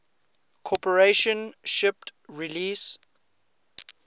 corporation shipped release